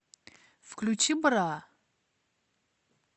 включи бра